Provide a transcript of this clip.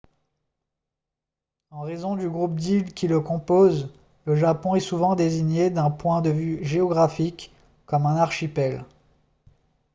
en raison du groupe d'îles qui le composent le japon est souvent désigné d'un point de vue géographique comme un « archipel »